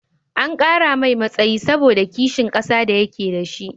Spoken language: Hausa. An kara mai matsayi saboda ƙishin ƙasa da ya ke dashi